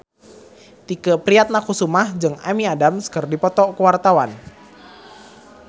Tike Priatnakusuma jeung Amy Adams keur dipoto ku wartawan